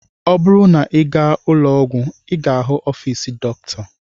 Ọ bụrụ na ị gaa ụlọọgwụ, ị ga-ahụ ọfiisi Dọkịta.